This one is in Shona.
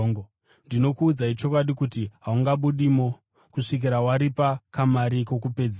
Ndinokuudzai chokwadi kuti haungabudimo kusvikira waripa kamari kokupedzisira.